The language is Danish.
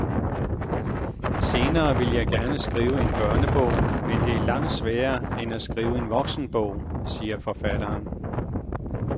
Senere ville jeg gerne skrive en børnebog, men det er langt sværere end at skrive en voksenbog, siger forfatteren.